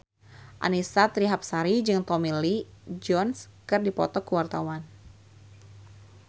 Annisa Trihapsari jeung Tommy Lee Jones keur dipoto ku wartawan